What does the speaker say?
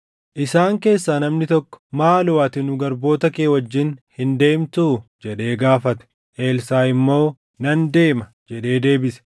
Isaan keessaa namni tokko, “Maaloo ati nu garboota kee wajjin hin deemtuu?” jedhee gaafate. Elsaaʼi immoo, “Nan deema” jedhee deebise.